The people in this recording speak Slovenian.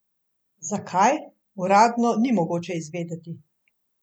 Zakaj, uradno ni mogoče izvedeti.